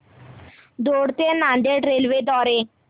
दौंड ते नांदेड रेल्वे द्वारे